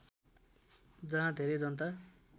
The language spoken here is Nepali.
जहाँ धेरै जनता